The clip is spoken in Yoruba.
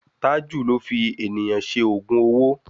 Tájù ló fi ènìyàn ṣe ògùn owó.